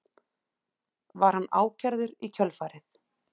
Var hann ákærður í kjölfarið